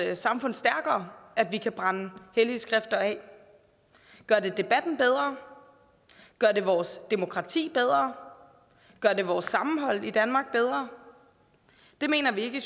samfund stærkere at vi kan brænde hellige skrifter af gør det debatten bedre gør det vores demokrati bedre gør det vores sammenhold i danmark bedre det mener vi vi